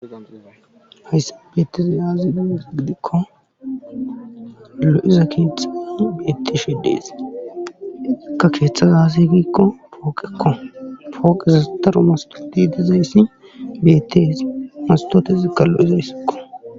Hayssan beetizay aaze gizayssa gidikko lo'iza keeththay beetishe de'ees. ikka keeththay aazee giikko woggakko pooqezi daro hage dizayssi beetes. mastotezikka lo'izayssakko.